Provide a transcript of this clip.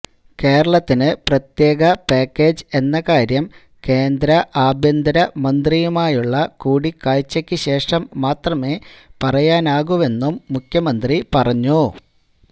കേരളത്തിന് പ്രത്യേക പാക്കേജ് എന്ന കാര്യം കേന്ദ്ര ആഭ്യന്തര മന്ത്രിയുമായുള്ള കൂടിക്കാഴ്ചക്കു ശേഷം മാത്രമെ പറയാനാകുവെന്നും മുഖ്യമന്ത്രി പറഞ്ഞു